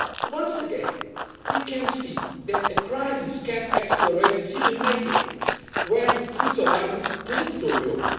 Once again, we can see that a crisis can accelerate decision making when it crystallises political will.